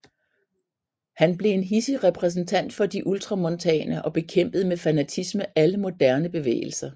Han blev en hidsig repræsentant for de ultramontane og bekæmpede med fanatisme alle moderne bevægelser